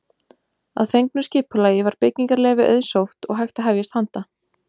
Að fengnu skipulagi var byggingarleyfi auðsótt og hægt að hefjast handa.